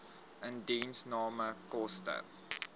indiensname koste